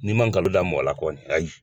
N'i ma nkalon da mɔgɔ la kɔni ayi